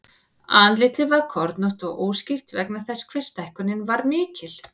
Andlitið var kornótt og óskýrt vegna þess hve stækkunin var mikil.